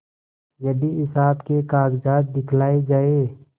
यदि हिसाब के कागजात दिखलाये जाएँ